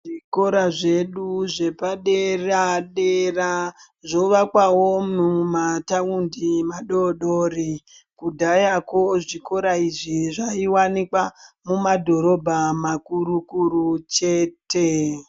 Zvikora zvedu zvepadera dera zvovakwawo mumataundi madodori kudhayako zvikora izvi zvaiwanikwa mumadhorobha makuru kuru chete .